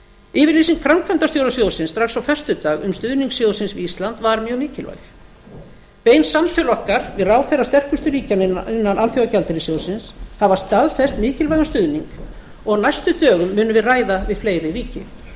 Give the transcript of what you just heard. yfirlýsing framkvæmdastjóra sjóðsins strax á föstudag um stuðning sjóðsins við ísland var mjög mikilvæg bein samtöl okkar við herra sterkustu ríkjanna innan alþjóðagjaldeyrissjóðsins hafa staðfest mikilvægan stuðning og á næstu dögum munum við ræða árið fleiri ríki